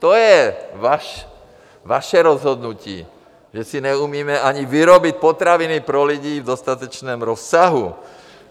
To je vaše rozhodnutí, že si neumíme ani vyrobit potraviny pro lidi v dostatečném rozsahu.